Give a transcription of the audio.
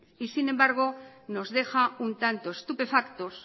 y sin embargo nos deja un tanto estupefactos